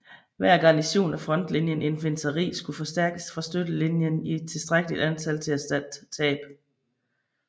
Hver garnison af frontlinje infanteri skulle forstærkes fra støttelinjen i tilstrækkeligt antal til at erstatte tab